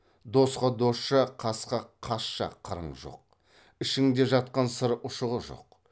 досқа досша қасқа қасша қырың жоқ ішіңде жатқан сыр ұшығы жоқ